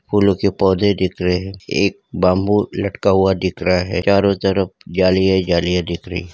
फूलों के पौधे दिख रहे हैं एक बम्बू लटका हुआ दिख रहा है चारों तरफ जालियां ही जालियां दिख रही।